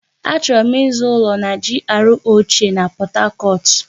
Achọrọ m ịzụ ụlọ na GRA ochie na Pọt Hacọt.